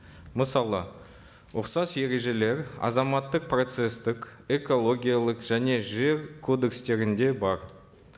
мысалы ұқсас ережелер азаматтық процесстік экологиялық және жер кодекстерінде бар